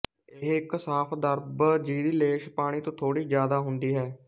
ਇਹ ਇੱਕ ਸਾਫ਼ ਦਰਵ ਜਿਹਦੀ ਲੇਸ ਪਾਣੀ ਤੋਂ ਥੋੜ੍ਹੀ ਜ਼ਿਆਦਾ ਹੁੰਦੀ ਹੈ